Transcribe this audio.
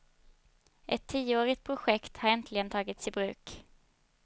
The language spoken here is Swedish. Ett tioårigt projekt hade äntligen tagits i bruk.